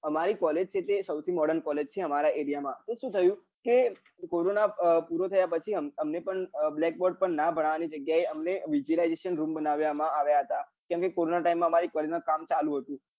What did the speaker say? અમારી college છે એ સૌથી modern college છે અમારા એરિયા માં તો સુ થયું કે કોરોના પૂરો થયા પછી અમને પણ black bord પર ભણવાની જગ્યા અમને visualization room બનાવ્યા માં આવ્યા હતા કેમ કે કોરોના time માં અમારી college માં કામ ચાલુ હતું